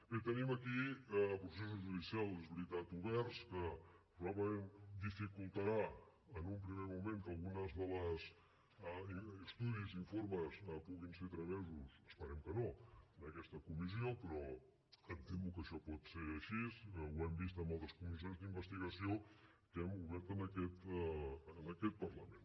bé tenim aquí processos judicials és veritat oberts la qual cosa probablement dificultarà en un primer moment que alguns dels estudis i informes puguin ser tramesos esperem que no a aquesta comissió però em temo que això pot ser així ho hem vist en altres comissions d’investigació que hem obert en aquest parlament